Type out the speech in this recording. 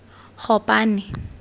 gopane